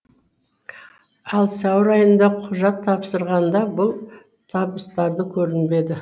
ал сәуір айында құжат тапсырғанда бұл табыстарды көрінбеді